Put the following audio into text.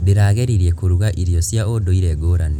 Ndĩrageririe kũruga irio cia ũndũire ngũrani.